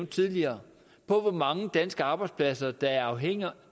tidligere på hvor mange danske arbejdspladser der er afhængige